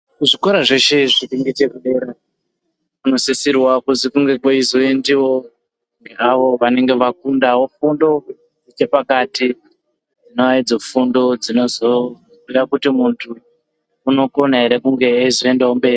Zvikora zveshezviri ngechepadera zvinosisira kuti kunge kweizondiwawo ngeavo vanenge vafundawo fundo yepakati naidzo fundo dzinozoita kuti muntu unokona ere kunge eizoendawo mberi.